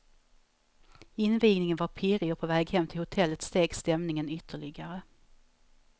Invigningen var pirrig och på väg hem till hotellet steg stämningen ytterligare.